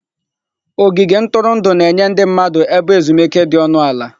Ogige ntụrụndụ na-enye ndị mmadụ ebe ezumike dị ọnụ ala.